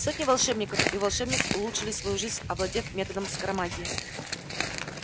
сотни волшебников и волшебниц улучшили свою жизнь овладев методом скоромагии